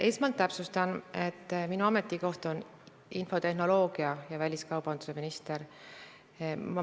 Esmalt täpsustan, et minu ametikoht on infotehnoloogia- ja väliskaubandusminister.